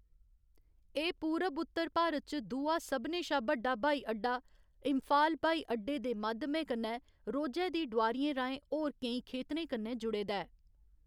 एह्‌‌ पूरब उत्तर भारत च दूआ सभनें शा बड्डा ब्हाई अड्डा, इंफाल ब्हाई अड्डे दे माध्यमै कन्नै रोजै दी डोआरियें राहें होर केईं खेतरें कन्नै जुड़े दा ऐ।